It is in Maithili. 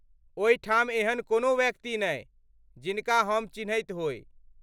ओहिठाम एहन कोनो व्यक्ति नहि, जिनका हम चिन्हैत होइ।